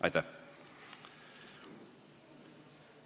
Aitäh!